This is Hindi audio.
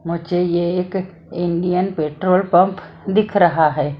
मुझे ये एक इंडियन पेट्रोल पंप दिख रहा है।